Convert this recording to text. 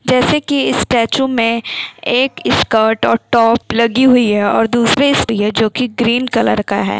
जैसे कि इस स्टैचू में एक स्कर्ट और टॉप लगी हुई है और दूसरे जो कि ग्रीन कलर का है।